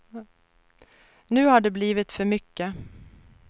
Nu har det blivit för mycket.